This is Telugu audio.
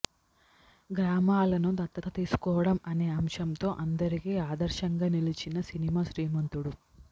గ్రామాలను దత్తత తీసుకోవడం అనే అంశంతో అందరికి ఆదర్శంగా నిలిచిన సినిమా శ్రీమంతుడు